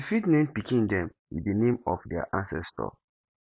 you fit name pikin dem with di name of their ancestor